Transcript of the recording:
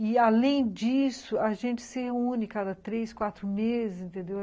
E, além disso, a gente se reúne cada três, quatro meses, entendeu?